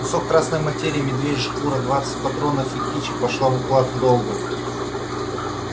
кусок красной материи медвежья шкура двадцать патронов и кичи пошла в уплату долга